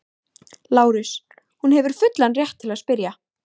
LÁRUS: Hún hefur fullan rétt til að spyrja.